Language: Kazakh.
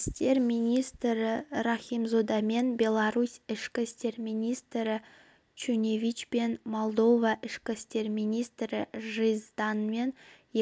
істер министрі рахимзодамен беларусь ішкі істер министрі шуневичпен молдова ішкі істер министрі жизданмен